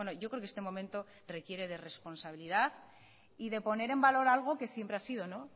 yo creo que este momento requiere de responsabilidad y de poner en valor algo que siempre ha sido